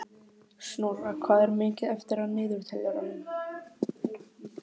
Snorra, hvað er mikið eftir af niðurteljaranum?